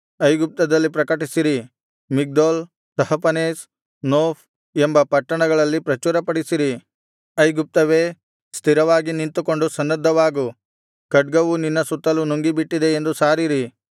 ಐಗುಪ್ತದಲ್ಲಿ ಪ್ರಕಟಿಸಿರಿ Migdol Tahpanhes Noph ಎಂಬ ಪಟ್ಟಣಗಳಲ್ಲಿ ಪ್ರಚುರಪಡಿಸಿರಿ ಐಗುಪ್ತವೇ ಸ್ಥಿರವಾಗಿ ನಿಂತುಕೊಂಡು ಸನ್ನದ್ಧವಾಗು ಖಡ್ಗವು ನಿನ್ನ ಸುತ್ತಲು ನುಂಗಿಬಿಟ್ಟಿದೆ ಎಂದು ಸಾರಿರಿ